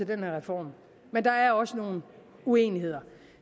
den her reform men der er også nogle uenigheder